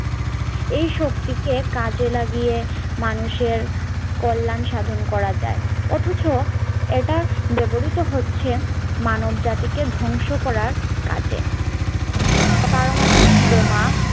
এই শক্তি কে কাজে লাগিয়ে মানুষের কল্যাণ সাধন করা যায় অথচ এটা ব্যবহৃত হচ্ছে মানব জাতিকে ধ্বংস করার কাজে পারমাণবিক বোমা